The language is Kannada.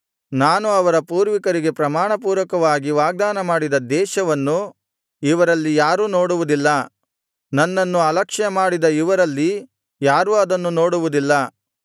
ನಾನು ಅವರ ಪೂರ್ವಿಕರಿಗೆ ಪ್ರಮಾಣಪೂರ್ವಕವಾಗಿ ವಾಗ್ದಾನ ಮಾಡಿದ ದೇಶವನ್ನು ಇವರಲ್ಲಿ ಯಾರೂ ನೋಡುವುದಿಲ್ಲ ನನ್ನನ್ನು ಅಲಕ್ಷ್ಯಮಾಡಿದ ಇವರಲ್ಲಿ ಯಾರೂ ಅದನ್ನು ನೋಡುವುದಿಲ್ಲ